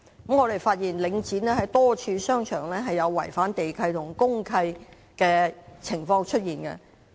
我們發現領展多個商場有違反地契和公契的情況。